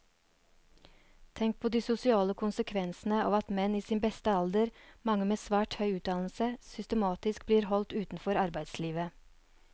Tenk på de sosiale konsekvensene av at menn i sin beste alder, mange med svært høy utdannelse, systematisk blir holdt utenfor arbeidslivet.